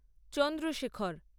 Chandrashekhar